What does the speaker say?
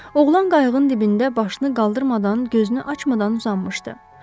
Oğlan qayığın dibində başını qaldırmadan, gözünü açmadan uzanmışdı.